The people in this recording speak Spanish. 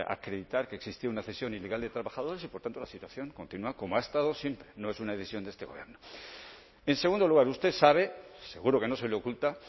acreditar que existía una cesión ilegal de trabajadores y por tanto la situación continúa como ha estado siempre no es una decisión de este gobierno en segundo lugar usted sabe seguro que no se le oculta